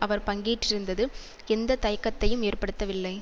அவர் பங்கேற்றிருந்தது எந்த தயக்கத்தையும் ஏற்படுத்தவில்லை